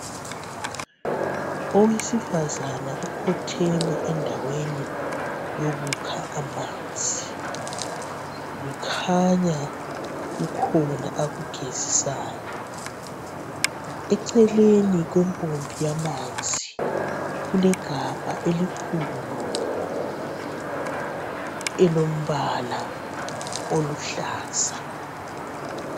Owesifazane ukhotheme endaweni yokukha amanzi. Kukhanya kukhona akugezisayo. Eceleni kwempompi yamanzi kulegabha elikhulu elombala oluhlaza.